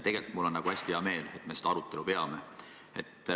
Tegelikult on mul hästi hea meel, et me seda arutelu peame.